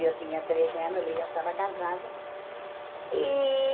Eu tinha treze anos, ele já estava casado. E